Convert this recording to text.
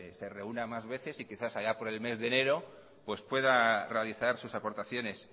se reúna más veces y quizá allá por el mes de enero pues pueda realizar sus aportaciones